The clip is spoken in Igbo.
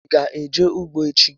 Ị ga eje ugbo echi?